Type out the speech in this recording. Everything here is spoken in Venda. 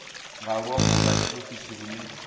nga luambo lwa tshiofisi lune